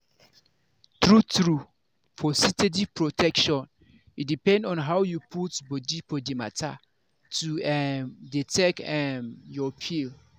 true-true for steady protection e depend on how you put body for the matter to um dey take um your pill.